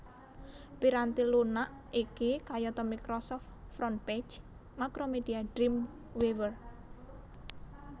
Piranti lunak iki kayata Microsoft Frontpage Macromedia Dreamweaver